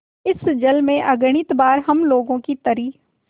इस जल में अगणित बार हम लोगों की तरी